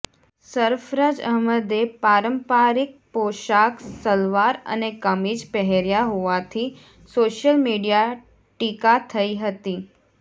સરફરાજ અહમદે પારંપારિક પોશાક સલવાર અને કમીજ પહેર્યા હોવાથી સોશિયલ મીડિયા ટીકા થઈ હતી